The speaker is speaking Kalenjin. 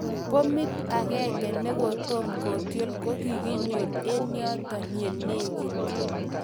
bomit agenge negotom kotiol ko koginyor en yoton ye negit